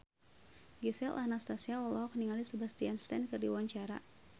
Gisel Anastasia olohok ningali Sebastian Stan keur diwawancara